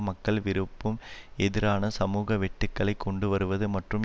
மக்கள் விருப்பும் எதிரான சமூக வெட்டுக்களை கொண்டுவருவது மற்றும்